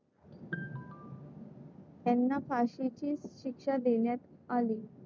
त्यांना फाशीची शिक्षा देण्यात आली.